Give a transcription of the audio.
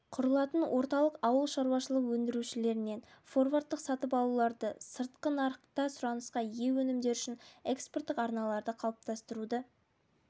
құрылатын орталық ауылшаруашылық өндірушілерінен форвардтық сатып алуларды сыртқы нарықта сұранысқа ие өнімдер үшін экспорттық арналарды қалыптастыруды